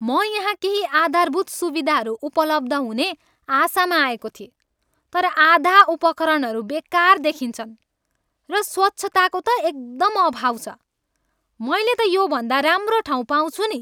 "म यहाँ केही आधारभूत सुविधाहरू उपलब्ध हुने आशामा आएको थिएँ, तर आधा उपकरणहरू बेकार देखिन्छन्, र स्वच्छताको त एकदम अभाव छ। मैले त योभन्दा राम्रो ठाउँ पाउँछु नि।"